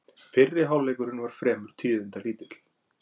Fyrri hálfleikurinn var fremur tíðindalítill